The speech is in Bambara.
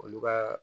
Olu ka